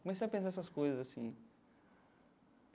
Comecei a pensar essas coisas assim.